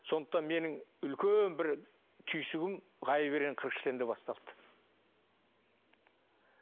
сондықтан менің үлкен бір түйсігім ғайып ерен қырық шілтенде басталды